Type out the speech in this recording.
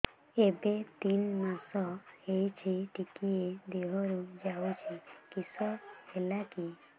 ଏବେ ତିନ୍ ମାସ ହେଇଛି ଟିକିଏ ଦିହରୁ ଯାଉଛି କିଶ ହେଲାକି